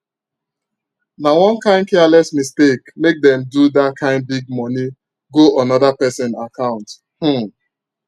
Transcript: na one kain careless mistake make them do that kain big money go another person account um